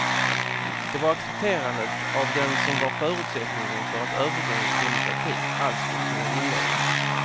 Det var accepterandet av den som var förutsättningen för att övergången till demokrati alls skulle kunna inledas.